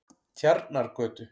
Tjarnargötu